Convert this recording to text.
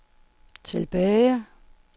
tilbage